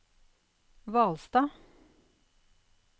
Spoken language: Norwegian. Hvalstad